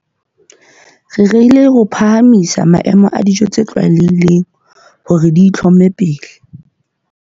Re rerile ho phahamisa maemo a dijo tse tlwaelehileng hore di itlhome pele.